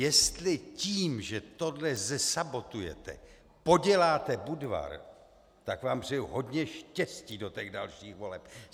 Jestli tím, že tohle zesabotujete, poděláte Budvar, tak vám přeju hodně štěstí do těch dalších voleb.